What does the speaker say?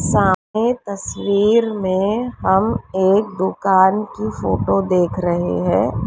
सामने तस्वीर में हम एक दुकान की फोटो देख रहे हैं।